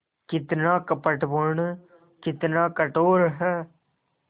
कितना कपटपूर्ण कितना कठोर है